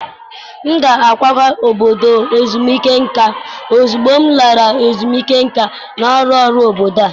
M ga-akwaga n'obodo ezumike nka ozugbo m lara ezumike nka n'ọrụ ọrụ obodo a.